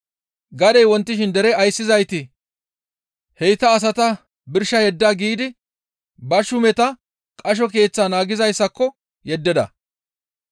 Gadey wontishin dere ayssizayti, «Heyta asata birsha yedda» giidi ba shuumeta qasho keeththaa naagizayssako yeddida.